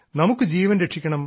നമുക്ക് ജീവൻ രക്ഷിക്കണം